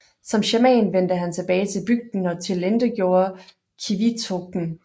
Som shaman vendte han tilbage til bygden og tilintetgjorde qivitoqen